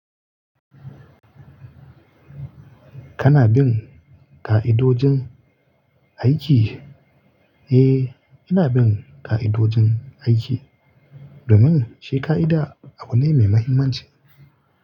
Kana bin ƙa'idojin aiki? Eh, ina bin ƙa'idojin aiki domin shi ƙa'ida abu ne mai mahimmanci.